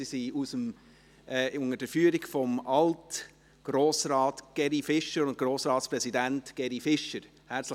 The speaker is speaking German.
Sie sind unter der Führung von Alt-Grossrat und Alt-Grossratspräsident Geri Fischer hier.